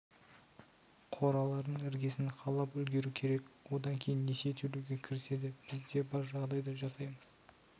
қораларының іргесін қалап үлгеру керек одан кейін несие төлеуге кіріседі біз де бар жағдайды жасаймыз